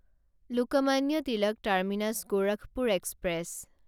Lokmanya Tilak terminus Gorakhpur express